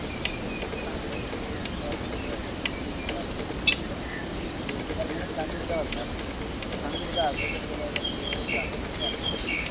ਅਤੇ ਪਤੰਗ ਉਡਾਣ ਡੇ ਫੇਰ ਉਦੋ ਬਾਅਦ ਕੀ ਹੋਇਆ ਭਾਈ ਉਹਨਾ ਨੇ ਚੱਲ ਉਹ ਜਿਹੜਾ ਪਿੱਛੇ ਸੀ ਯੋਗੇਸ਼ ਗਰਗ ਹੁਣਾਂ ਪਤੰਗ ਵਧਾ ਲਿਆ। ਪਤੰਗ ਵਧਾ ਕੇ ਅਤੇ ਅੱਗੇ ਲੈ ਗਿਆ ਕਿ ਉਹਦੇ ਕਾਕੂ ਦੇ ਘਰ ਕੋਲੇ